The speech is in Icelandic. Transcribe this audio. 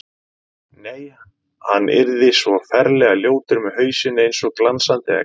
Nei, hann yrði svo ferlega ljótur með hausinn eins og glansandi egg.